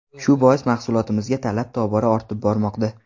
Shu bois mahsulotimizga talab tobora ortib bormoqda.